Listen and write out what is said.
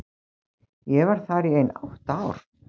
Ég var þar í ein átta ár.